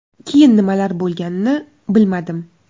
Keyin nimalar bo‘lganini bilmadim.